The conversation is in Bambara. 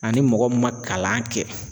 Ani mɔgɔ min ma kalan kɛ